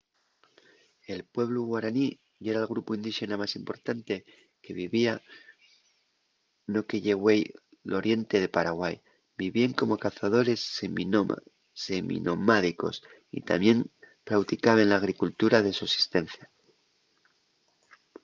el pueblu guaraní yera'l grupu indíxena más importante que vivía no que ye güei l’oriente de paraguai. vivíen como cazadores seminomádicos y tamién prauticaben l’agricultura de sosistencia